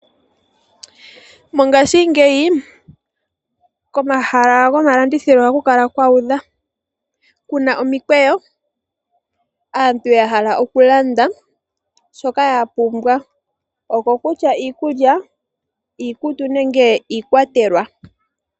Mongashingeyi komahala gomalandithilo ohaku kala kuudha. Kuna omikweyo aantu ya hala okulanda shoka ya pumbwa. Okokutya iikulya, iikutu nenge iikwatelwa.